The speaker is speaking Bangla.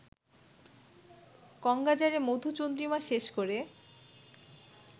কঙ্বাজারে মধুচন্দ্রিমা শেষ করে